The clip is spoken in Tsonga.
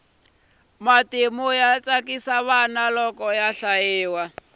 matimu ya tsakisa vana loko ya hlayiwa